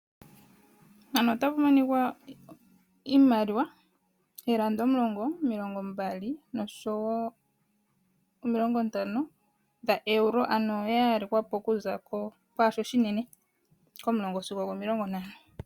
Mpano otapu monikwa iimaliwa eelanda omulongo, omilongo mbali nosho woo omilongo ntano dha eulo ano ya yalekwa po kuza kwaashi oshinene sigo oshishona.